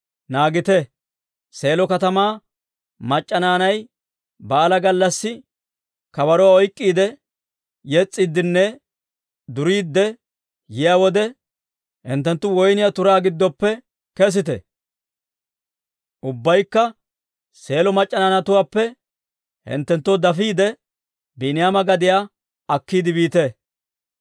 naagite. Seelo katamaa mac'c'a naanay baalaa gallassi kabaruwaa oyk'k'iide, yes's'iiddinne duriidde yiyaa wode, hinttenttu woyniyaa turaa giddoppe kesite. Ubbaykka Seelo mac'c'a naanatuwaappe hinttenttoo dafiide, Biiniyaama gadiyaa akkiide biite.